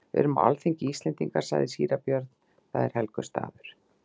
Við erum á alþingi Íslendinga, sagði síra Björn,-það er helgur staður.